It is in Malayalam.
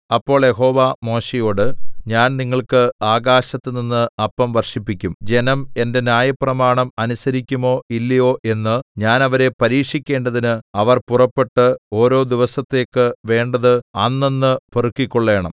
അപ്പോൾ യഹോവ മോശെയോട് ഞാൻ നിങ്ങൾക്ക് ആകാശത്തുനിന്ന് അപ്പം വർഷിപ്പിക്കും ജനം എന്റെ ന്യായപ്രമാണം അനുസരിക്കുമോ ഇല്ലയോ എന്ന് ഞാൻ അവരെ പരീക്ഷിക്കേണ്ടതിന് അവർ പുറപ്പെട്ട് ഓരോ ദിവസത്തേക്ക് വേണ്ടത് അന്നന്ന് പെറുക്കിക്കൊള്ളേണം